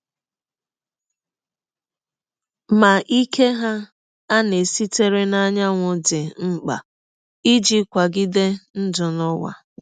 Ma ike hà aṅaa sitere n’anyanwụ dị mkpa iji kwagide ndụ n’ụwa?